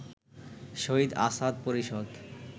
শহীদ আসাদ পরিষদ